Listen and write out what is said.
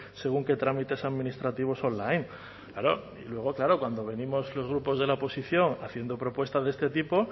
según qué trámites administrativos online claro luego claro cuando venimos los grupos de la oposición haciendo propuestas de este tipo